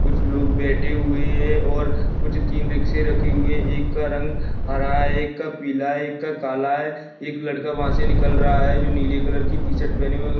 कुछ लोग बैठे हुए हैं और कुछ तीन रिक्शे रखे हुए हैं एक का रंग हरा एक का पीला एक का काला है एक लड़का वहाँ से निकल रहा है जो नीले कलर की टी-शर्ट पहने हुए --